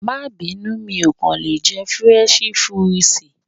Máa bínú, mi ò kàn lè jẹ Fúrẹ́nṣí Fúrisìì.